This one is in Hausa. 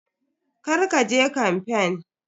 Kar ka je kamfen.